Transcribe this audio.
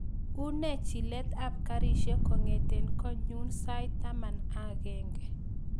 Unee chilet ap karishek kongeten konyun sait taman ak agenge